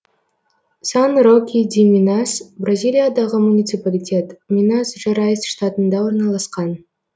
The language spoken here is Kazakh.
сан роки ди минас бразилиядағы муниципалитет минас жерайс штатында орналасқан